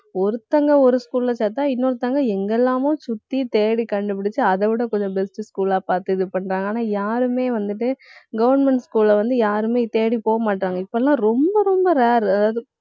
ஒருத்தவங்க ஒரு school ல சேர்த்தா இன்னொருத்தங்க எங்கெல்லாமோ சுத்தி தேடி கண்டுபிடிச்சு அதைவிட கொஞ்சம் best school ஆ பார்த்து இது பண்றாங்க. ஆனா, யாருமே வந்துட்டு government school ல வந்து, யாருமே தேடி போகமாட்டேன்றாங்க. இப்போ எல்லாம் ரொம்ப ரொம்ப rare அதாவது